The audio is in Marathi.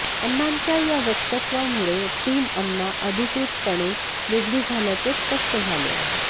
अण्णांच्या या वक्तव्यामुळे टीम अण्णा अधिकृतपणे वेगळी झाल्याचे स्पष्ट झाले आहे